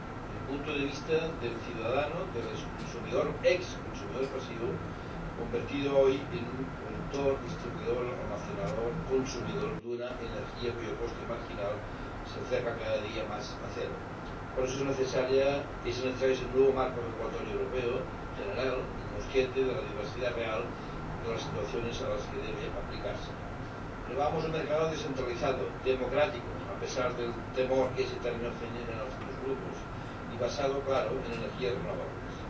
El punto de vista del ciudadano, del exconsumidor pasivo, convertido hoy en un productor, distribuidor, almacenador y consumidor de una energía cuyo coste marginal se acerca cada día más a cero. Por eso, es necesario ese nuevo marco regulatorio europeo, general y consciente de la diversidad real de las situaciones a las que debe aplicarse. Pero vamos al mercado descentralizado, democrático —a pesar del temor que este término genera en algunos grupos— y basado, claro, en energías renovables.